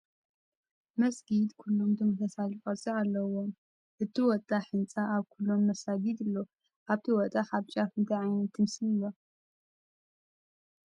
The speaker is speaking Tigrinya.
መስጊድ ኩሎም ተመሳሳሊ ቅርፂ ኣለዎም፡፡ እቲ ወጣሕ ህንፃ ኣብ ኩሎም መሳጊድ ኣሎ፡፡ ኣብቲ ወጣሕ ኣብ ጫፉ እንታይ ዓይነት ምስሊ ኣሎ?